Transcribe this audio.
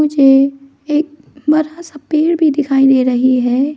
मुझे एक बरा सा पेड़ भी दिखाई दे रही है।